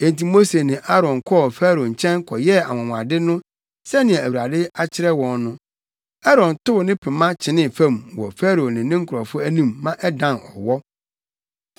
Enti Mose ne Aaron kɔɔ Farao nkyɛn kɔyɛɛ anwonwade no sɛnea Awurade akyerɛ wɔn no. Aaron tow ne pema no kyenee fam wɔ Farao ne ne nkurɔfo anim ma ɛdan ɔwɔ.